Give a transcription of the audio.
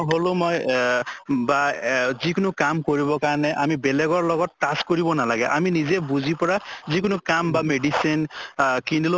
হʼলো মই এহ বা এহ যি কোনো কাম কৰিব কাৰণে আমি বেলেগৰ লগত touch কৰিব নালাগে, আমি নিজে বুজি পৰা যিকোনো কাম বা medicine আহ কিনিলেও